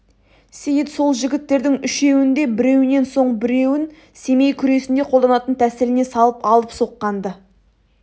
сейіт сол жігіттердің үшеуін де біреуінен соң біреуін семей күресінде қолданатын тәсіліне салып алып соққан-ды